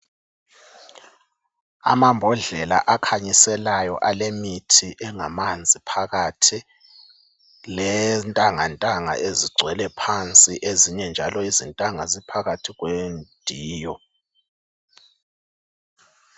Amambodlela akhanyiselayo alemithi engamanzi phakathi lentangantanga ezigcwele phansi ezinye njalo izintanga ziphakathi kwediyo.